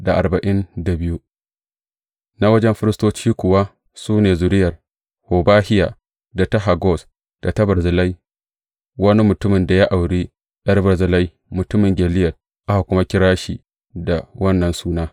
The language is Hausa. Na wajen firistoci kuwa su ne, Zuriyar Hobahiya, da ta Hakkoz, da ta Barzillai wani mutumin da ya auri ’yar Barzillai mutumin Gileyad, aka kuma kira shi da wannan suna.